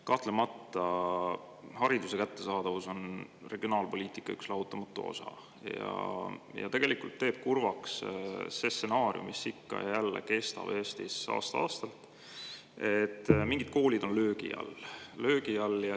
Kahtlemata, hariduse kättesaadavus on regionaalpoliitika lahutamatu osa ja tegelikult teeb kurvaks see stsenaarium, mis ikka ja jälle Eestis aasta-aastalt, et mingid koolid on löögi all.